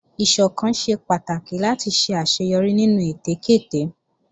Ìsọ̀kan ṣe pàtàkì láti ṣe àṣeyọrí nínú ète kéte